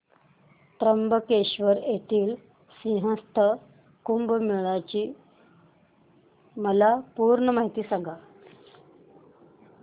त्र्यंबकेश्वर येथील सिंहस्थ कुंभमेळा ची मला पूर्ण माहिती सांग